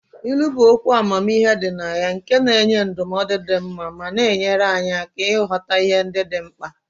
Ilu bụ okwu amamihe dị na ya nke na-enye ndụmọdụ dị mma ma na-enyere anyị aka ịghọta ihe ndị dị mkpa.